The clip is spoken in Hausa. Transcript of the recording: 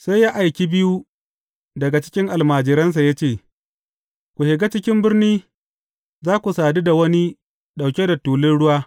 Sai ya aiki biyu daga cikin almajiransa ya ce, Ku shiga cikin birni, za ku sadu da wani ɗauke da tulun ruwa.